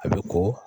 A bɛ ko